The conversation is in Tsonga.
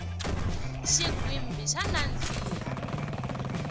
xigwimbhi xa nandziha